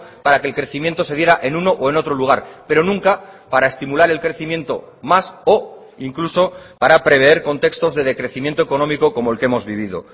para que el crecimiento se diera en uno o en otro lugar pero nunca para estimular el crecimiento más o incluso para prever contextos de decrecimiento económico como el que hemos vivido